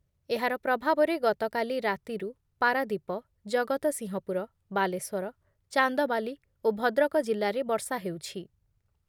ଏହାର ପ୍ରଭାବରେ ଗତକାଲି ରାତିରୁ ପାରାଦୀପ, ଜଗତସିଂହପୁର, ବାଲେଶ୍ଵର, ଚାନ୍ଦବାଲି ଓ ଭଦ୍ରକ ଜିଲ୍ଲାରେ ବର୍ଷା ହେଉଛି ।